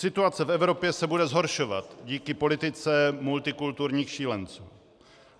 Situace v Evropě se bude zhoršovat díky politice multikulturních šílenců.